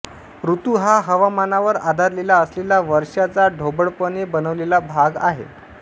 ऋतू हा हवामानावर आधारलेला असलेला वर्षाचा ढोबळपणे बनवलेला भाग आहे